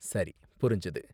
சரி, புரிஞ்சது.